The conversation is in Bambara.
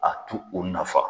A tu u nafa